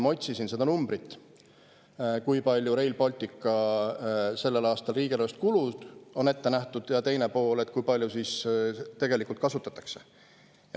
Ma otsisin seda summat, kui palju on Rail Balticu jaoks sellel aastal riigieelarvest kulusid ette nähtud ja kui palju tegelikult ära kasutatakse.